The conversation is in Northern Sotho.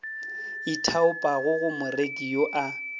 ithaopang go moreki yo a